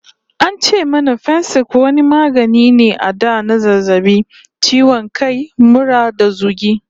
An ce mana Fensik wani magani ne a da na zazzabi, ciwo kai, mura da zogi.